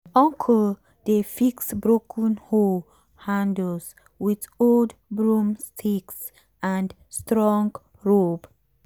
uncle dey fix broken hoe handles with old broomsticks and strong rope.